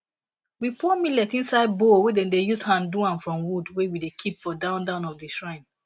we pour millet inside bowl wey dem use hand do am from wood wey we keep for down down of the shrine